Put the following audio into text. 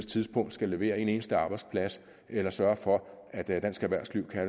tidspunkt skal levere en eneste arbejdsplads eller sørge for at dansk erhvervsliv kan